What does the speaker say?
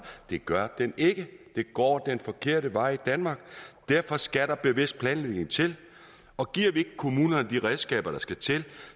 det gør den ikke det går den forkerte vej i danmark derfor skal der bevidst planlægning til og giver vi ikke kommunerne de redskaber der skal til